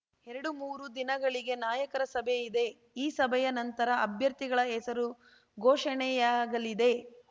ಎರಡುಮೂರು ದಿನಗಳಿಗೆ ನಾಯಕರ ಸಭೆ ಇದೆ ಈ ಸಭೆಯ ನಂತರ ಅಭ್ಯರ್ಥಿಗಳ ಹೆಸರು ಘೋಷಣೆಯಾಗಲಿದೆ